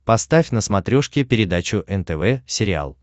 поставь на смотрешке передачу нтв сериал